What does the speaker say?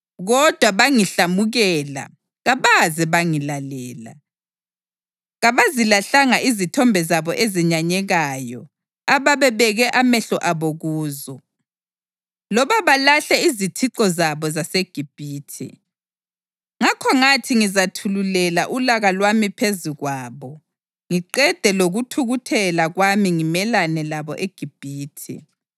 Kodwa bangihlamukela kabaze bangilalela; kabazilahlanga izithombe zabo ezenyanyekayo ababebeke amehlo abo kuzo, loba balahle izithixo zabo zaseGibhithe. Ngakho ngathi ngizathululela ulaka lwami phezu kwabo ngiqede lokuthukuthela kwami ngimelane labo eGibhithe.